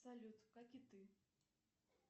салют как и ты